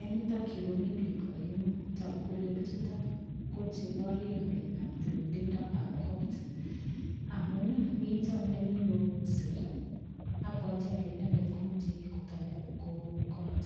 Eng yutok yu ko mi biik aengu. Tagu kole biichuto koborie ngalekab tililindoab kot amun, mito nemi kousei abwati ale inendet komache kotoi koun kot.